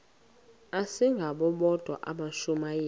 asingabo bodwa abashumayeli